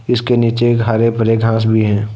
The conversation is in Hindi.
इसके नीचे हरे भरे घास भी हैं।